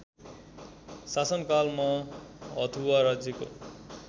शासनकालमा हथुवा राज्यको